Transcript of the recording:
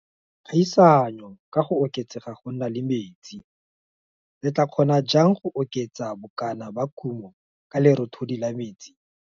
Kgaisanyo ka go oketsega go nna le metsi re tlaa kgona jang go oketsa bokana ba kumo ka lerothodi la metsi?